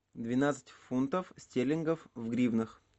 двенадцать фунтов стерлингов в гривнах